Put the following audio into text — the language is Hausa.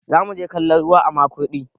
zamu je kallon ruwa a Makurdi